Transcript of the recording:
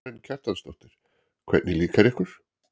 Karen Kjartansdóttir: Hvernig líkar ykkur?